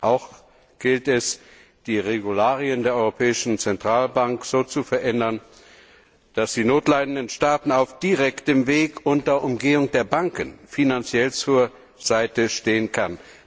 Auch gilt es, die Satzung der Europäischen Zentralbank so zu verändern, dass sie notleidenden Staaten auf direktem Weg unter Umgehung der Banken finanziell zur Seite stehen kann.